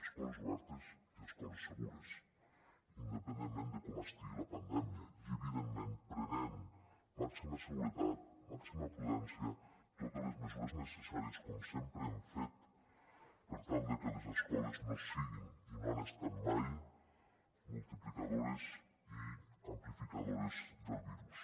escoles obertes i escoles segures independentment de com estigui la pandèmia i evidentment prenent màxima seguretat màxima prudència totes les mesures necessàries com sempre hem fet per tal de que les escoles no siguin i no ho han estat mai multiplicadores i amplificadores del virus